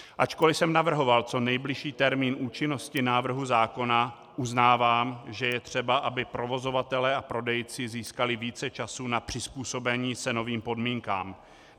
Ačkoli jsem navrhoval co nejbližší termín účinnosti návrhu zákona, uznávám, že je třeba, aby provozovatelé a prodejci získali více času na přizpůsobení se novým podmínkám.